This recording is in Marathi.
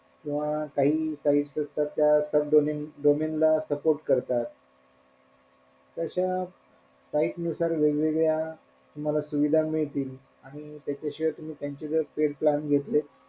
किंवा काही काही site असतात त्या sub domain domain ला support करतात तश्या site नुसार वेगवेगळ्या तुम्हला सुविधा मिळतील आणि त्याच्याशिवाय तुम्ही त्यांचे जर paid plan घेतले,